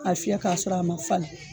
A fiyɛ k'a sɔrɔ a ma fana